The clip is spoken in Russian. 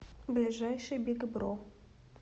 ближайший биг бро